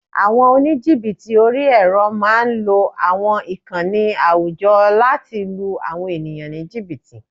Àwọn oníjìbìtì orí-ẹrọ máa ń lo àwọn ìkànnì àwùjọ láti lu àwọn ènìyàn ní jìbìtì